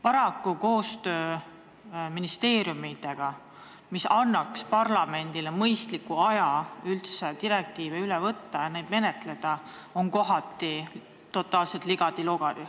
Paraku on koostöö ministeeriumidega, mis peaks võimaldama parlamendil mõistliku aja jooksul direktiivide ülevõtmist arutada, kohati totaalselt ligadi-logadi.